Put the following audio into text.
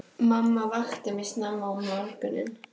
Mamma vakti mig snemma um morguninn.